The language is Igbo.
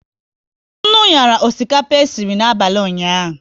Nnu nyara osikapa esiri n'abalị ụnyaahụ